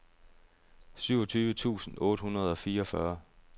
syvogtyve tusind otte hundrede og fireogfyrre